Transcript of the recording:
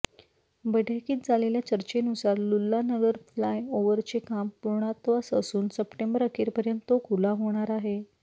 बैठकीत झालेल्या चर्चेनुसार लुल्लानगर फ्लाय ओवरचे काम पूर्णत्वास असून सप्टेंबर अखेरपर्यंत तो खुला होणार आहे